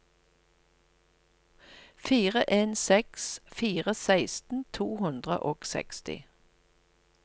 fire en seks fire seksten to hundre og seksti